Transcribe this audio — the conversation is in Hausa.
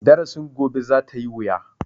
Darasin gobe za ta yi wuya.